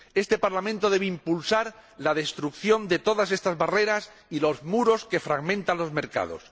Este Parlamento debe impulsar la destrucción de todas estas barreras y muros que fragmentan los mercados.